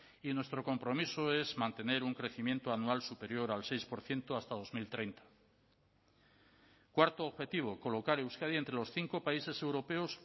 y nuestro compromiso es mantener un crecimiento anual superior al seis por ciento hasta dos mil treinta cuarto objetivo colocar euskadi entre los cinco países europeos